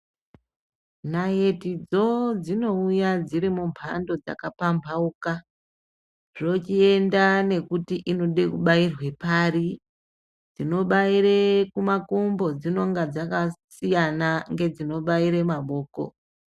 Naitidzo dzinouya dziri mumhando dzakapambauka dzochienda nekuti inide kubairwe pari, inobaire kumakumbo dzinenge dzakasiyana ngedzinobayire mahoko.